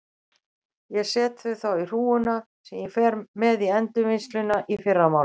Ég set þau þá í hrúguna sem ég fer með í endurvinnsluna í fyrramálið.